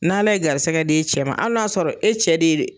N'Ale ye garisɛgɛ d'e cɛ ma, hali n'a y'a sɔrɔ e cɛ de